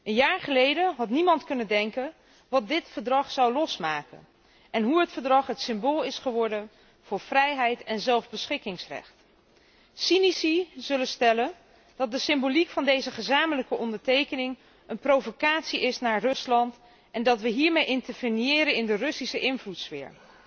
Een jaar geleden had niemand kunnen denken wat deze overeenkomst zou losmaken en hoe ze het symbool is geworden voor vrijheid en zelfbeschikkingsrecht. Cynici zullen stellen dat de symboliek van deze gezamenlijke ondertekening een provocatie is naar Rusland en dat wij hiermee interveniëren in de Russische invloedssfeer.